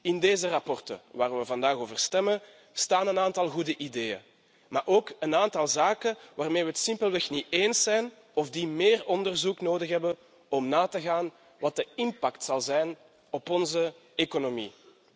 In deze verslagen waar we vandaag over stemmen staan een aantal goede ideeën, maar ook een aantal zaken waarmee we het simpelweg niet eens zijn of die meer onderzoek nodig hebben om na te gaan wat de impact zal zijn op onze economie.